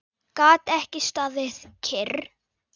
Gat ekki staðið kyrr.